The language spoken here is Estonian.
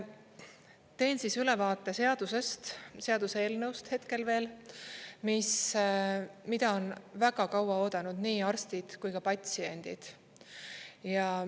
Teen siis ülevaate seadusest, seaduseelnõust hetkel veel, mida on väga kaua oodanud nii arstid kui ka patsiendid.